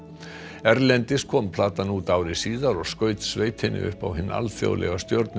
erlendis kom platan út ári síðar og skaut sveitinni upp á hinn alþjóðlega